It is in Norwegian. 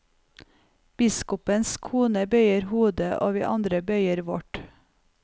Biskopens kone bøyer hodet, og vi andre bøyer vårt.